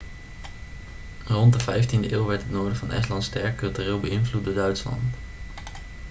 rond de vijftiende eeuw werd het noorden van estland sterk cultureel beïnvloed door duitsland